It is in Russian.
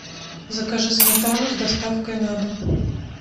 закажи сметану с доставкой на дом